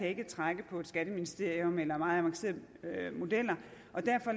ikke trække på skatteministeriet eller meget avancerede modeller